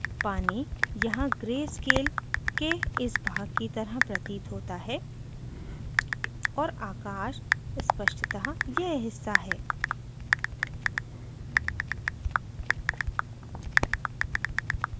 पानी यहाँ gray scale के इस भाग की तरह प्रतीत होता है और आकाश स्पष्तः यह हिस्सा है